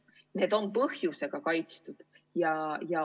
Ja need on põhjusega kaitstud.